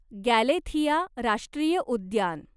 Galathea राष्ट्रीय उद्यान